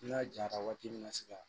N'a jara waati min na se ka